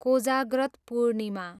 Kojagrat Purnima